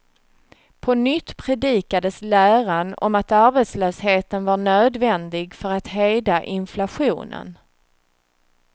På nytt predikades läran om att arbetslösheten var nödvändig för att hejda inflationen.